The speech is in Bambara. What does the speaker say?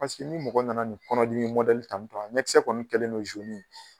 Pasiki ni mɔgɔ nana nin kɔnɔdimi tantɔn a ɲɛkisɛ kɔni kɛlen do ye.